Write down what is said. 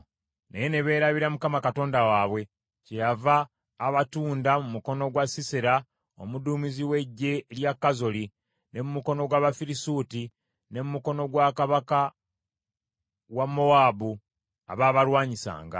“Naye ne beerabira Mukama Katonda waabwe, kyeyava abatunda mu mukono gwa Sisera omuduumizi w’eggye lya Kazoli, ne mu mukono gw’Abafirisuuti, ne mu mukono gwa kabaka wa Mowaabu, abaabalwanyisanga.